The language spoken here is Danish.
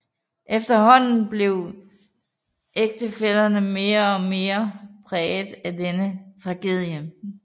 Efterhånden blev ægtefællerne mere og mere præget af denne tragedie